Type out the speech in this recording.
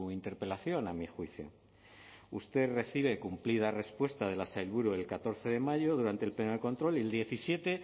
interpelación a mi juicio usted recibe cumplida respuesta de la sailburu el catorce de mayo durante el pleno de control y el diecisiete